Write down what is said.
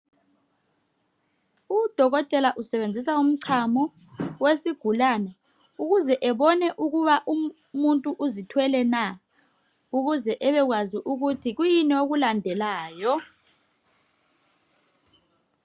Udokotela usebenzisa umchamo, wesigulane ukuze ebone ukuba umuntu uzithwele na, ukuze ebekwazi ukuthi kuyini okulande layo.